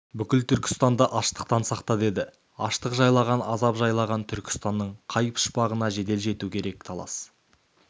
бүкіл түркістанды аштықтан сақта деді аштық жайлаған азап жайлаған түркістанның қай пұшпағына жедел жету керек талас